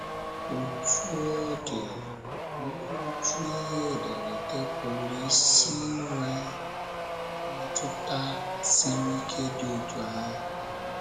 Otú ọ dị, olee otú ihe ederede pụrụ isi nwee mmetụta siri ike dị otú ahụ?